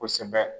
Kosɛbɛ